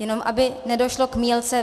Jenom aby nedošlo k mýlce.